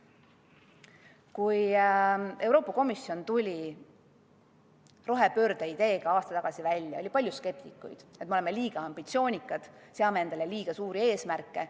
Kui Euroopa Komisjon tuli rohepöörde ideega aasta tagasi välja, oli palju skeptikuid, kes ütlesid, et me oleme liiga ambitsioonikad, seame endale liiga suuri eesmärke.